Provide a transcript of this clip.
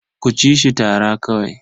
Ku ci shi tara kawai.